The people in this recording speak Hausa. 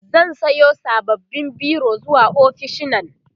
zan Sayo sababbin biro zuwa ofishinnan